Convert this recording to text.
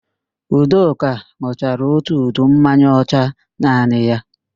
Udoka n̄ụchara ótù udu mmanya ọcha naanị ya